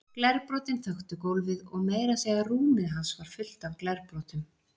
Glerbrotin þöktu gólfið og meira að segja rúmið hans var fullt af glerbrotum.